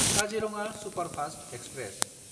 Kaziranga superfast express